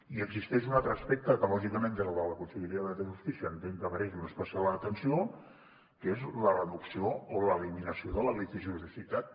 i existeix un altre aspecte que lògicament des de la conselleria de justícia entenc que mereix una especial atenció que és la reducció o l’eliminació de la litigio sitat